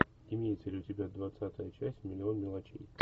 имеется ли у тебя двадцатая часть миллион мелочей